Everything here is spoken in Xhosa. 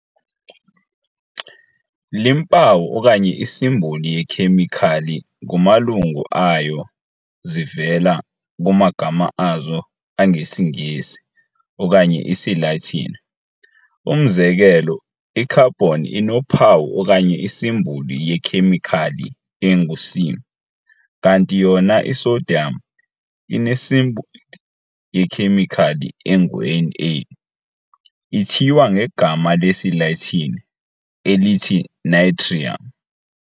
Iimpawu okanye isimboli yekhemikhali kumalungu ayo zivela kumagama azo angesiNgesi okanye isiLatini. Umzekelo, i-carbon inophawu okanye isimboli yekhemikhali engu'C', kanti yona i-sodium inesimboli yekhemikhali engu'Na', ithiywa ngegama lesiLatini elithi "natrium".